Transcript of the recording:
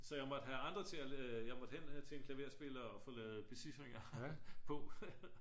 så jeg måtte have andre til jeg måtte hen til en klaverspiller og få lavet becifringer på